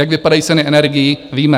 Jak vypadají ceny energií, víme.